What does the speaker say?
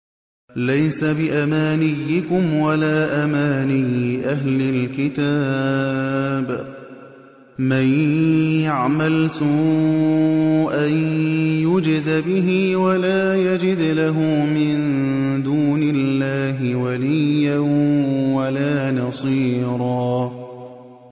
لَّيْسَ بِأَمَانِيِّكُمْ وَلَا أَمَانِيِّ أَهْلِ الْكِتَابِ ۗ مَن يَعْمَلْ سُوءًا يُجْزَ بِهِ وَلَا يَجِدْ لَهُ مِن دُونِ اللَّهِ وَلِيًّا وَلَا نَصِيرًا